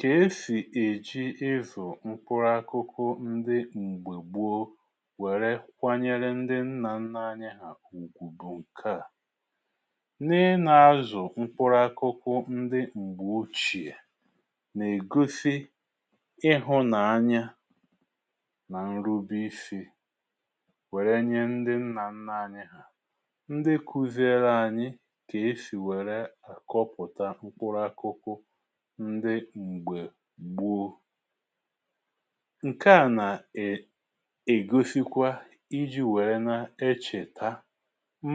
Kà e sì èji ịzụ̀ mkpụrụ akụkụ ndi m̀gbè gbuo wère kwanyere ndi nnȧ nnȧ anya hà ùgwùbu kaȧ. nne nà-azụ̀ mkpụrụ akụkụ ndi m̀gbè ochìè nà ègosi ịhụ̇ nà anya, nà ǹrụbi isi̇ wère nye ndi nnà nnȧ anya hà, ndi kụziele anyi kà e sì wère àkọpụ̀ta mkpụrụ akụkụ ndị mgbe gbọ. ǹke à nà- ègosikwa iji wère na-echè taa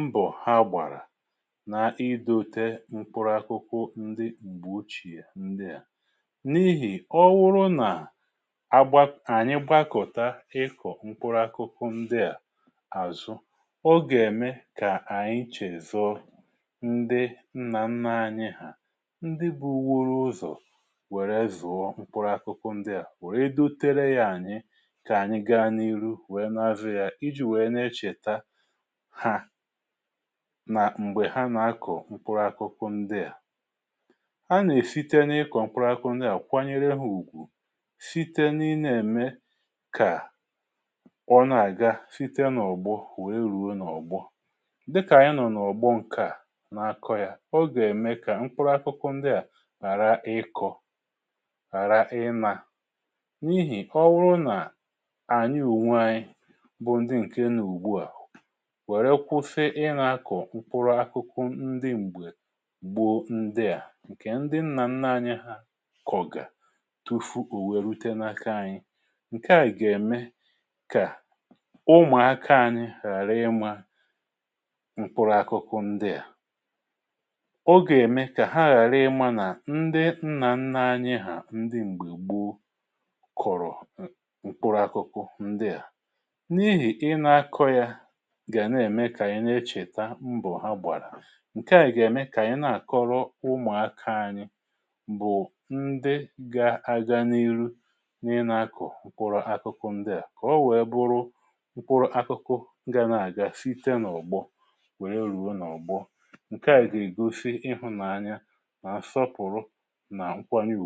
mbọ ha gbàrà na-idote mkpụrụ akụkụ ndi gbùochìe ndi à, n’ihì ọwụrụ nà ànyị gbakọ̀ta ịkọ̀ mkpụrụ akụkụ ndi à àzụ, ọ gà-ème kà ànyị chèzọ ndi nnà nna anyị ha ndị bụwọrụ ụzọ wère zùọ mkpụrụ akụkụ ndị à, wèrè edotere yȧ ànyị kà ànyị gaa n’iru wèe n’azụ̀ yà iji̇ wèe na-echèta ha, nà m̀gbè ha nà-akọ̀ mkpụrụ akụkụ ndị à. a nà-èfite n’ịkọ̀ mkpụrụ akụkụ ndị à kwanyere ha ùgwù, site na-enwe kà ọ na-àga site n’ọ̀gbọ̀ wèe rùo n’ọ̀gbo, dịkà anyị̇ nọ̀ n’ọ̀gbo ǹkè à nà-akọ̇ yà, ọ gà-ème kà mkpụrụ akụkụ ndị à hàra ịkọ, ghara ị nȧ, n’ihì ọ bụrụ nà ànyị ùnwe anyị bụ ndị ǹke nà ùgbu àhụ wère kwufe ị nȧ-akọ̀ mkpụrụ akụkụ ndị m̀gbe gboo ndị à, ǹkè ndị nnà nnȧ anyị hȧ kọ̀gà tufu ò wèe rute n’aka anyị. ǹkè a gà-ème kà ụmụ̀ akȧ anyị ghàra ịmȧ mkpụrụ akụkụ ndị à. o gà-ème kà ha ghàra ịmȧ nà ndị nna nna anyị ha mgbe gbọ kọ̀rọ̀ ǹkpuru akụ̇kụ̇ ndị à, n’ihì ị nà-akọ̇ yȧ gà nà-ème kà ị nechèta mbọ̀ ha gbàrà, ǹke à nè-ème kà ị na-àkọrọ ụmụ̀akȧ ȧnyị̇ bụ̀ ndị ga-aga n’ihu n’ịnȧakụ̀ pụrụ akụ̇kụ̇ ndị à kọ̀o wèe bụrụ pụrụ akụkụ ndị à ga-asịte n’ụ̀gbo wère ruo n’ụ̀gbo. ǹke à gà-ègosi ịhụ̇nàanya, na nsọpụrụ, na nkwanye-ụgwụ.